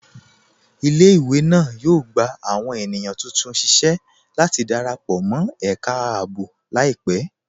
Ilẹ̀-ìwé náà yóò gbà awọn ènìyàn tuntun síṣẹ̀ láti darapọ̀ mọ̀ ẹká ààbò laipẹ̀.